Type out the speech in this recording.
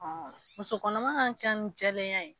Muso kɔnɔma ka kɛ ni jɛlenya ye